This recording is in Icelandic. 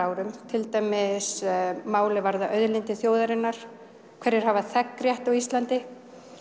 árum til dæmis mál er varða þjóðarinnar hverjir hafa þegnrétt á Íslandi